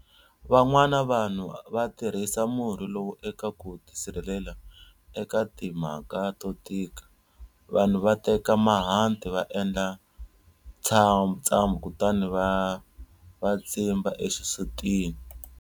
Van'wana vanhu va tirhisa murhi lowu eka ku ti sirhelela eka timhaka to tika. Vanhu va teka mahanti va endla ntsambu kutani va tsimba exisutini.